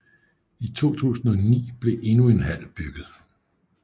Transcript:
I 2009 blev endnu en hal bygget